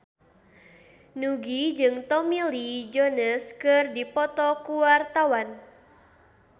Nugie jeung Tommy Lee Jones keur dipoto ku wartawan